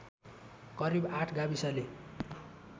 करिब ८ गाविसले